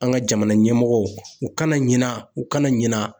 An ka jamana ɲɛmɔgɔw, u kana ɲina u kana ɲina